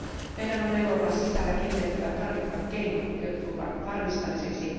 Meidän on Euroopan sisällä kehitettävä tarvittavat keinot tietoturvan varmistamiseksi.